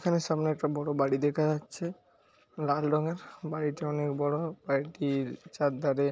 সামনে একটি বড় বাড়ি দেখা যাচ্ছে লাল রঙ এর বাড়িটি অনেক বড় বাড়িটির চার ধারে--